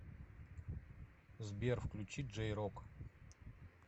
сбер включи джей рок